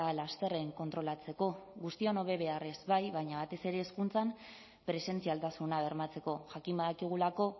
lasterren kontrolatzeko guztion hobe beharrez bai baina batez ere hezkuntzan presentzialtasuna bermatzeko jakin badakigulako